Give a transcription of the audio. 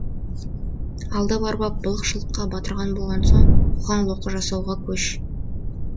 алдап арбап былық шылыққа батырған болған соң қоқаң лоққы жасауға көш